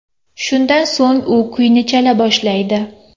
Shundan so‘ng u kuyni chala boshlaydi.